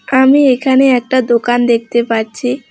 আমি এখানে একটা দোকান দেখতে পাচ্ছি।